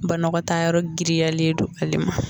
Banɔgɔtaa yɔrɔ giriyalen don ale ma.